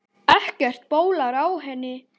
Ekkert bólar á henni.